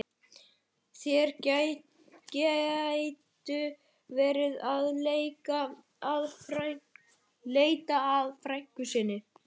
Þeir gætu verið að leita að frænku sinni.